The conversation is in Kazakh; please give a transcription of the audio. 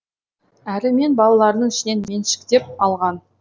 әрі мені балаларының ішінен меншіктеп алған